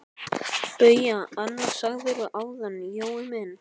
BAUJA: Annað sagðirðu áðan, Jói minn.